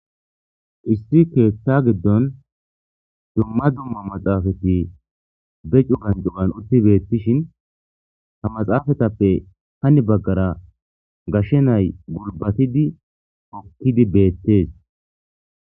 Issi keththa giddon dumma dumma maxafeti be cuggan cuggan utti betishin ha maxapetape hani baggara gashshe na'ayi gulbatidi hookidi bettes.